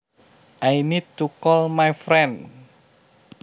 I need to call my friend